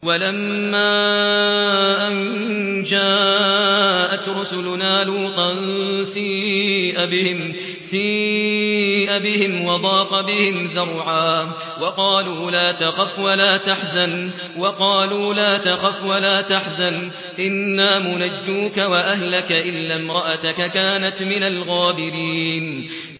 وَلَمَّا أَن جَاءَتْ رُسُلُنَا لُوطًا سِيءَ بِهِمْ وَضَاقَ بِهِمْ ذَرْعًا وَقَالُوا لَا تَخَفْ وَلَا تَحْزَنْ ۖ إِنَّا مُنَجُّوكَ وَأَهْلَكَ إِلَّا امْرَأَتَكَ كَانَتْ مِنَ الْغَابِرِينَ